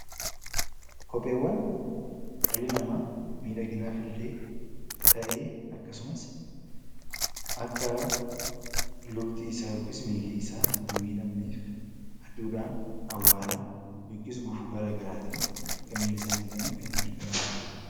Kopheewwan dhalli namaa miidhaginaafille ta'ee, akkasumas akka lukti isaa yookaan miilli isaa hin miidhafneef aduudhaan, awwaaraa yookaanis gufuu gara garaatiin akka milli isaa hin miidhafneef itti gargaaramnudha.